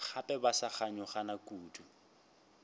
gape ba sa kganyogana kudu